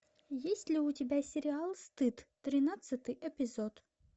есть ли у тебя сериал стыд тринадцатый эпизод